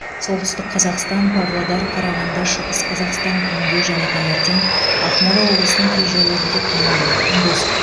солтүстік қазақстан павлодар қарағанды шығыс қазақстан түнде және таңертең ақмола облысының кей жерлерінде тұман күндіз